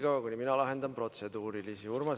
Vahepeal lahendan mina protseduurilisi küsimusi.